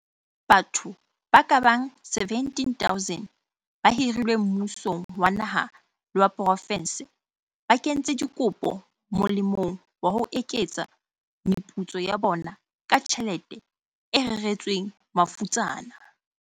Batho ba kabang 17 000 ba hirilweng mmusong wa naha le wa profense ba kentse dikopo molemong wa ho eketsa meputso ya bona ka tjhelete e reretsweng mafutsana.